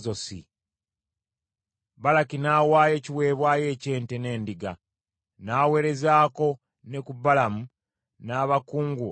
Balaki n’awaayo ekiweebwayo eky’ente n’endiga, n’aweerezaako ne ku Balamu n’abakungu abaali naye.